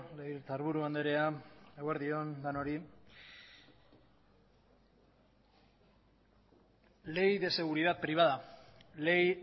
legebiltzarburu andrea eguerdi on denoi ley de seguridad privada ley